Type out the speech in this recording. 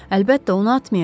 Əlbəttə, onu atmayacam.